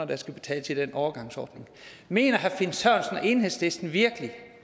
der skal betales i den overgangsordning mener herre finn sørensen og enhedslisten virkelig